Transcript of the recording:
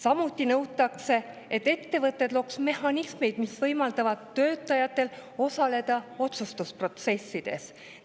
Samuti nõutakse, et ettevõtted looks mehhanismid, mis võimaldavad töötajatel osaleda otsustusprotsessides.